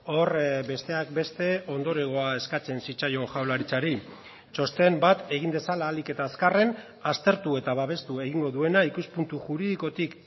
hor besteak beste ondorengoa eskatzen zitzaion jaurlaritzari txosten bat egin dezala ahalik eta azkarren aztertu eta babestu egingo duena ikuspuntu juridikotik